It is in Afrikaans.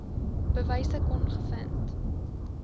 bewyse kon gevind